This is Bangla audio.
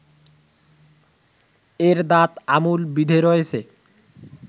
এর দাঁত আমূল বিঁধে রয়েছে